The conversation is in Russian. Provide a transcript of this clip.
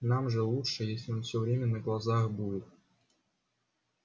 нам же лучше если он всё время на глазах будет